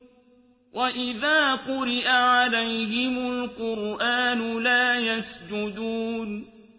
وَإِذَا قُرِئَ عَلَيْهِمُ الْقُرْآنُ لَا يَسْجُدُونَ ۩